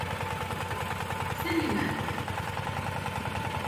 siling ata